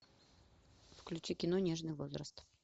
включи кино нежный возраст